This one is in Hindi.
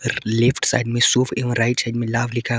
लेफ्ट साइड में सुभ एवं राइट साइड में लाभ लिखा--